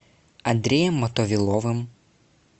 андреем мотовиловым